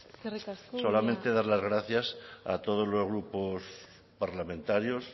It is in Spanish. eskerrik asko solamente dar las gracias a todos los grupos parlamentarios